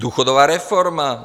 Důchodová reforma?